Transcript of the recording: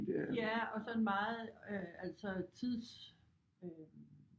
Ja og sådan meget øh altså tids øh